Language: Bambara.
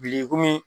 Biriki komi